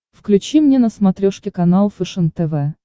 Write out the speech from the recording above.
включи мне на смотрешке канал фэшен тв